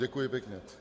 Děkuji pěkně.